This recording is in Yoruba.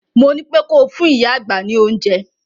Mo ní pé ko fún ìyá àgbà ní oúnjẹ!